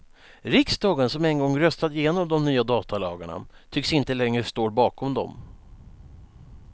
Riksdagen som en gång röstat igenom de nya datalagarna tycks inte längre står bakom dem.